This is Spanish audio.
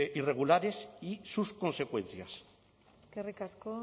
irregulares y sus consecuencias eskerrik asko